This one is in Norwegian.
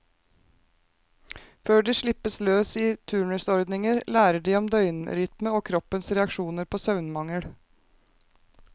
Før de slippes løs i turnusordninger, lærer de om døgnrytme og kroppens reaksjoner på søvnmangel.